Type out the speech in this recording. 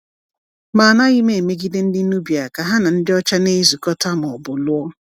Ma anaghị m emegide ndị Nubia ka ha na ndị ọcha na-ezukọta ma ọ bụ lụọ.